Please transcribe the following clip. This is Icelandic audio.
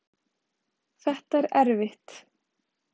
Þetta er erfitt